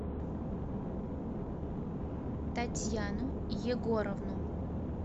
татьяну егоровну